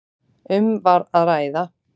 Um var að ræða